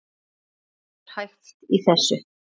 Hvað er hæft í þessu?